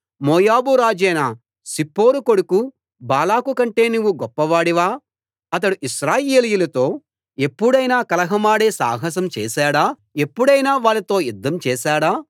మోయాబు రాజైన సిప్పోరు కొడుకు బాలాకు కంటే నువ్వు గొప్పవాడివా అతడు ఇశ్రాయేలీయులతో ఎప్పుడైనా కలహమాడే సాహసం చేశాడా ఎప్పుడైనా వాళ్ళతో యుద్ధం చేశాడా